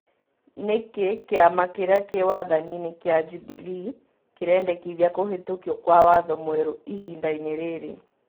Nĩkĩĩ kĩama kĩria kĩ wathaninĩ kĩa Jubilee kirĩndekithia kuhĩtũkio kwa watho mwerũ ihindaini rĩrĩ